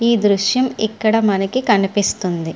ఈ దృశ్యం ఇక్కడ మనకి కనిపిస్తుంది.